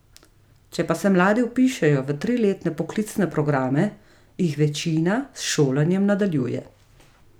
Če pa se mladi vpišejo v triletne poklicne programe, jih večina s šolanjem nadaljuje.